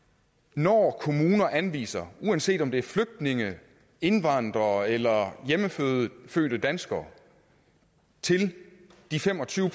når kommuner anviser uanset om det er flygtninge indvandrere eller hjemmefødte danskere til de fem og tyve